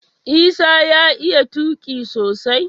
Isah ya iya tuqi sosai